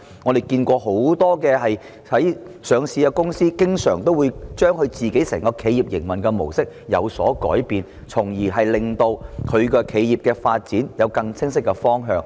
我們看見很多上市公司經常會改變公司本身的企業營運模式，從而令企業的發展有更清晰的方向。